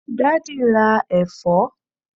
daddy ra èfó